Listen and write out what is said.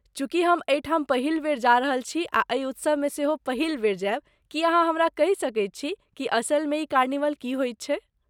चूँकि हम एहि ठाम पहिल बेर जा रहल छी आ एहि उत्सवमे सेहो पहिल बेर जायब, की अहाँ हमरा कहि सकैत छी कि असलमे ई कार्निवल की होई छै?